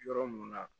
Yɔrɔ mun na